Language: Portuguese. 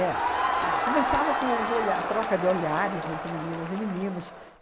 É. Ah, começava com os olha troca de olhares entre meninas e meninos.